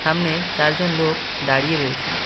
সামনে চারজন লোক দাঁড়িয়ে রয়েসে।